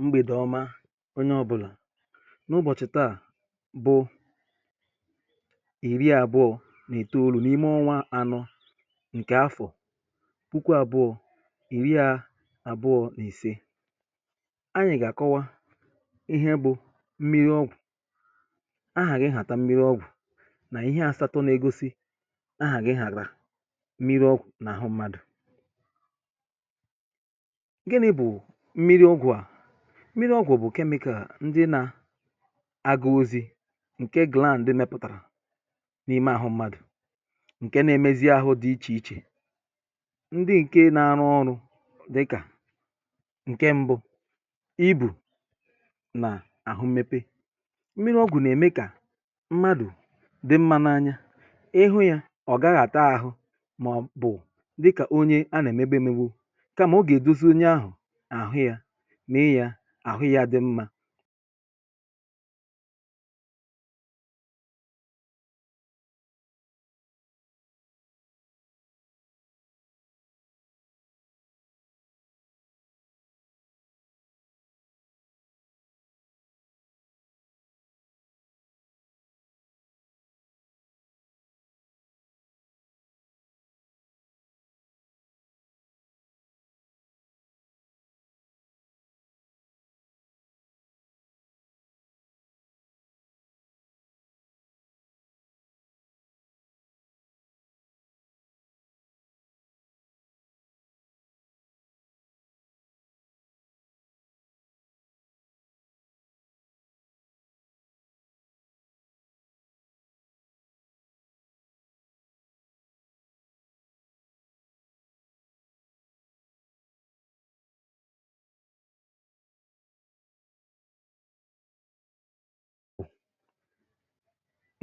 Mgbede ọma onye ọbụla. N'ụbọchị taa bụ iri abụọ na itoolu n'ime ọnwá anọ nke afọ puku abụọ iri a abụọ na ise. Anyị ga-akọwa ihe bụ mmiri ọ́gwụ̀, aha gị ịhata mmiri ọ́gwụ̀ na ihe àsatọ na-egosi aha gị ịhata mmiri ọ́gwụ̀ n'ahụ mmadụ. Gịnị bụ mmiri ọ́gwụ̀ a? Mmiri ọ́gwụ̀ bụ chemical ndị na-aga ozi nke gland mepụtara n'ime ahụ mmadụ, nke na-emezi ahụ dị iche iche. Ndị nke na-arụ ọrụ dị ka nke mbụ íbù na ahụ mmepe. Mmiri ọ́gwụ̀ na-eme ka mmadụ dị mma n'anya. Ị hụ ya, ọ gaghị ata ahụ maọbụ dị ka onye a na-emegbu emegbu. Kama ọ ga-edozi onye ahụ ya, mee ya ahụ ya adị mma.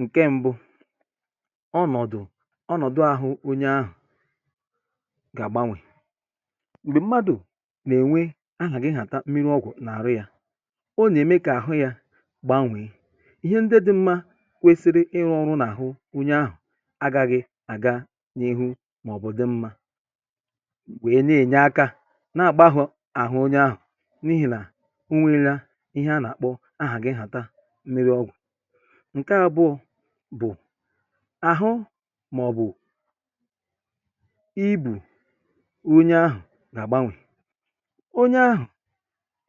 Nke mbụ, ọnọdụ ọnọdụ ahụ onye ahụ ga-agbanwe. Mgbe mmadụ na-enwe aha gị ịhata mmiri ọ́gwụ̀ n'ahụ ya, ọ na-eme ka ahụ ya gbanwee. Ihe ndị dị mma kwesịrị ịrụ ọrụ n'ahụ onye ahụ agaghị aga n'iru maọbụ dị mma. Wee na-enye aka na-agbaghọ ahụ onye ahụ n'ihi na o nweela ihe a na-akpọ aha gị ịhata mmiri ọ́gwụ̀. Nke abụọ bụ ahụ maọbụ íbù onye ahụ ga-agbanwe. Onye ahụ,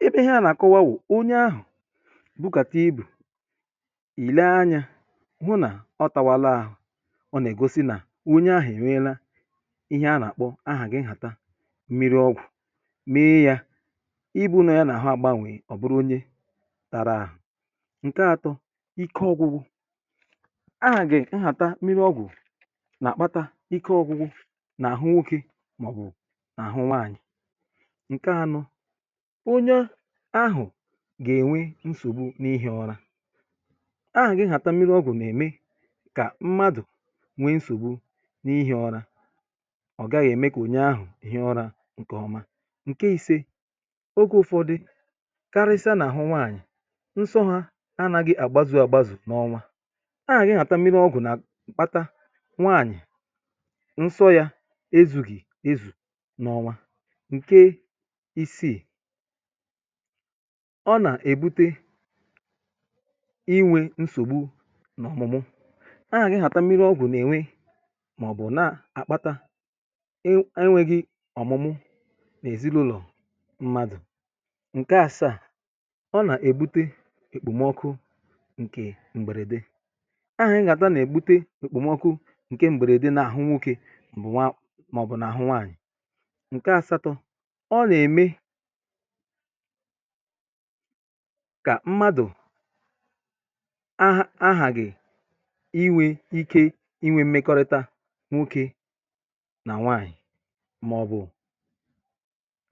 ebe ihe a na-akọwa bụ, onye ahụ bukata íbù, i lee anya hụ na ọ tawala ahụ. Ọ na-egosi na onye ahụ e nweela ihe a na-akpọ aha gị ịhata mmiri ọ́gwụ̀. Mee ya ibu nọ ya n'ahụ agbanwee, ọ bụrụ onye tara ahụ. Nke atọ ike ọgwụgwụ. Aha gị nhata mmiri ọ́gwụ̀ na-akpata ike ọgwụgwụ n'ahụ nwoke maọbụ n'ahụ nwaanyị. Nke anọ, onye ahụ ga-enwe nsogbu ihi ụra. Aha gị nhata mmiri ọ́gwụ̀ na-eme ka mmadụ nwee nsogbu n'ihi ụra. Ọ gaghị eme ka onye ahụ yie ụra nke ọma. Nke ise, oge ụfọdụ karịsịa n'ahụ nwaanyị, nsọ́ ha anaghị agbazu agbazu n'ọnwa. Aha gị nhata mmiri ọ́gwụ̀ na-akpata nwaanyị nsọ́ ya ezughi ezu n'ọnwa. Nke isii, ọ na-ebute inwe nsogbu n'ọ̀mụ̀mụ̀. Aha gị nhata mmiri ọ́gwụ̀ na-eme maọbụ na-akpata e enweghi ọ̀mụ́mụ́ n'ezinụlọ mmadụ. Nke asaa, ọ na-ebute ekpomọkụ nke mberede. Aha gị nhata na-ebute ekpomọkụ nke mberede n'ahụ nwoke bụ nwa maọbụ n'ahụ nwaanyị. Nke asatọ, ọ na-eme ka mmadụ agh aghaghị inwe ike inwe mmekọrịta nwoke na nwaanyị maọbụ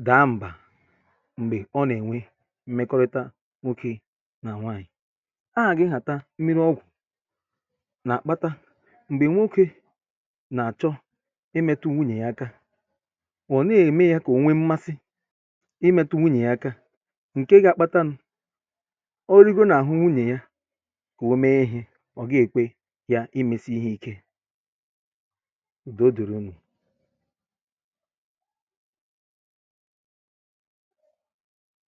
daa mbà mgbe ọ na-enwe mmekọrịta nwoke na nwaanyị. Aha gị nhata mmiri ọgwụ̀ na-akpata mgbe nwoke na-achọ imetụ nwunyia aka, ọ nee eme ya ka onwee mmasị imetụ nwunyia aka nke ga-akpatanụ ọ ligoo n'ahụ nwunyie ka o mee ihe, ọ gee ekwe ya imesi ihe íké. Udo dịrị unu.